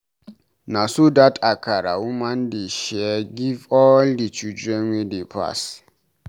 Na so dat Akara woman dey share give all di children wey dey pass.